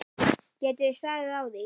Geti þið staðið á því?